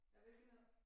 Af hvilket noget?